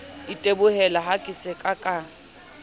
itebohela ha ke sa ka